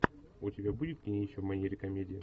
у тебя будет кинище в манере комедия